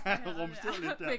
Rumsterede lidt der